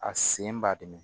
A sen b'a dɛmɛ